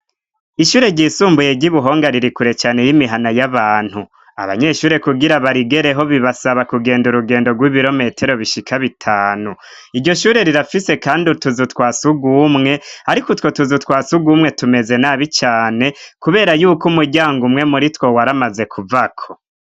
ishure ryisumbuye ry'ibuhonga ririkure cane y'imihana y'abantu abanyeshure kugira barigereho bibasaba kugenda urugendo rw'ibirometero bishika b' itanu iryo shure rirafise kandi utuzu twasugumwe ariko utwo tuzu twasugumwe tumeze nabi cane kubera yuko umuryango umwe muri two waramaze kuvako